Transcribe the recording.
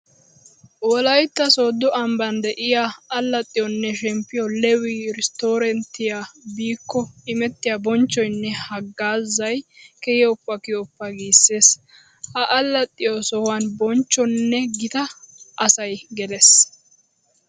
Wolaytta soodo ambban de'iya allaxxiyoone shemppiyo 'lewi resorttiya' biikko imettiya bonchchoyinne hagaazay kiyoppa kiyoppa gissees! Ha allaxxiyo sohuwan bonchchonne gita asay gelees.